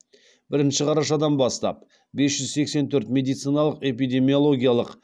бірінші қарашадан бастап бес жүз сексен төрт медициналық эпидемиологиялық